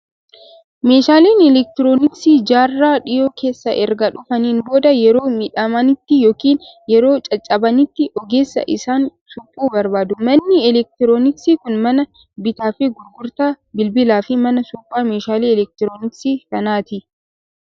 Meeshaaleen elektirooniksii jaarraa dhiyoo keessa erga dhufaniin booda, yeroo miidhamanitti yookiin yeroo caccabanitti ogeessa isaan suphu barbaadu. Manni elektirooniksii kun mana bittaa fi gurgurtaa bilbilaa fi mana suphaa meeshaalee elektirooniksii kanaati.